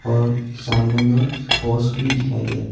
और सामने मे पॉस भी दिखाई दे रहा है।